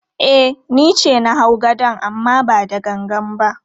E, ni ce na hau gadon amma ba da gangan ba.